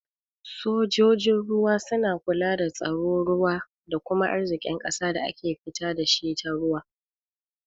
Sojojin ruwa suna kula da tsaron ruwa da kuma arzikin ƙasa da ake fita dashi ta ruwa.